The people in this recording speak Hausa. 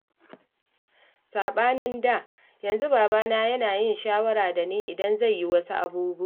Saɓanin da, yanzu babana yana yin shawara da ni idan zai yi wasu abubuwan